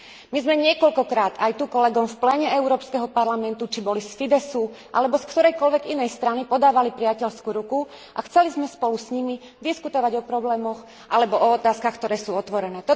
My sme niekoľkokrát, aj tu kolegom v pléne Európskeho parlamentu, či boli z Fideszu alebo z ktorejkoľvek inej strany, podávali priateľskú ruku a chceli sme spolu s nimi diskutovať o problémoch alebo o otázkach, ktoré sú otvorené.